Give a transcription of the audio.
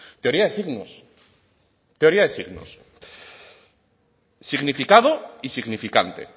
teoría de signos teoría de signos significando y significante